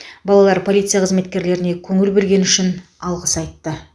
балалар полиция қызметкерлеріне көңіл бөлгені үшін алғыс айтты